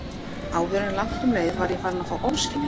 Áður en langt um leið var ég farin að fá ofskynjanir.